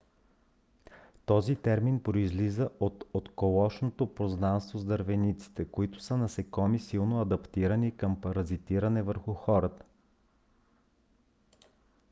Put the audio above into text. този термин произлиза от отколешното познанство с дървениците които са насекоми силно адаптирани към паразитиране върху хората